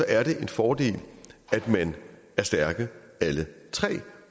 er det en fordel at man er stærke alle tre